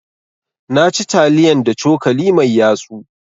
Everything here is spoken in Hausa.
Na ci taliyan da cokali mai yatsu.